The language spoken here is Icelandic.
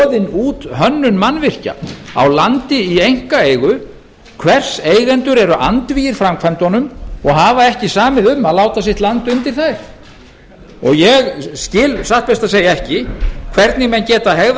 út hönnun mannvirkja á landi í einkaeigu hvers eigendur eru andvígir framkvæmdunum og hafa ekki samið um að láta sitt land undir þær ég skil satt best að segja ekki hvernig menn geta hegðað